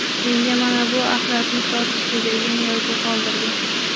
Menga mana bu axlatni sotishdi” degan yozuv qoldirgan.